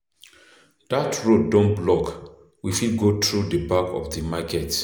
Dat road don block, we fit go through the back of the market.